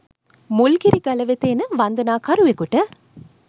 මුල්ගිරි ගල වෙත එන වන්දනා කරුවකුට